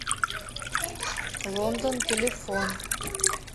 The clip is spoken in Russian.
лондон телефон